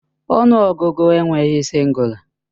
Ọnụ ọgụgụ enweghị sịngụla